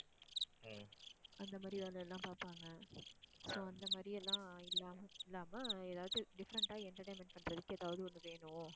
அந்த மாதிரி வேலை எல்லாம் பார்ப்பாங்க so அந்த மாதிரி எல்லாம் இல்லாம இல்லாம ஏதாவது different ஆ entertainment பண்றதுக்கு ஏதாவது ஒண்ணு வேணும்